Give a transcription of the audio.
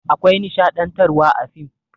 Akwai nishaɗantarwa a fim.